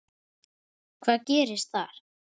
Hvað gerðist þar?